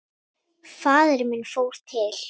Faðir minn fór til